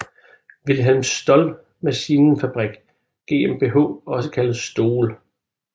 Wilhelm Stoll Maschinenfabrik GmbH også kaldet STOLL